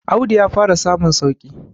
Audu ya fara samun sauki